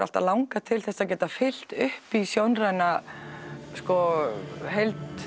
alltaf langað til þess að geta fyllt upp í sjónræna heild